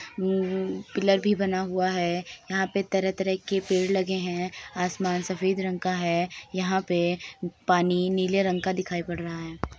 हम्म pillar भी बना हुआ है यहाँ पे तरह तरह के पेड़ लगे है आसमान सफ़ेद रंग का है यहाँ पे पानी नीले रंग का दिखाई पड रहा है।